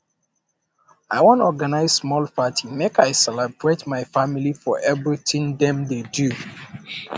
i wan organize small party make i celebrate my family for everytin um dem dey do